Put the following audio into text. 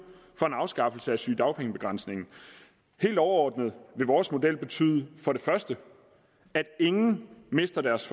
for en afskaffelse af sygedagpengebegrænsningen helt overordnet vil vores model betyde for det første at ingen mister deres